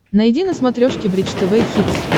найди на смотрешке бридж тв хитс